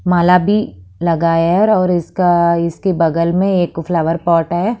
माला भी लगायर और इसका इसके बगल में एक फ्लावर पॉट है।